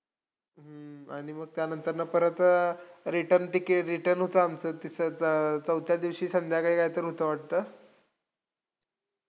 हम्म आणि मग त्यानंतरनं परत return ticket, return होतं आमचं, तिचं चौथ्या दिवशी संध्याकाळी काहीतरी होत वाटतं